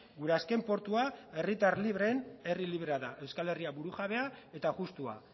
gure azken portua herritar libreen herri librea da euskal herria burujabea eta justua